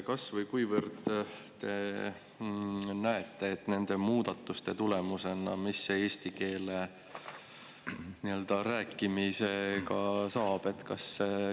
Mis nende muudatuste tulemusena eesti keele rääkimisega saab?